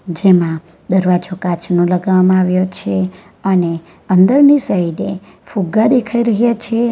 જેમાં દરવાજો કાચનો લગાવવામાં આવ્યો છે અને અંદરથી સાઇડે ફુગ્ગા દેખાઈ રહ્યા છે.